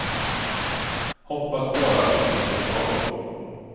Hoppas bara att vi slipper skador.